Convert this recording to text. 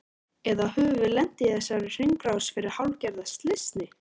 Eða höfum við lent í þessari hringrás fyrir hálfgerða slysni?